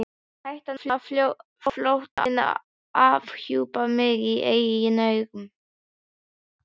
Hættan á að flóttinn afhjúpaði mig í eigin augum.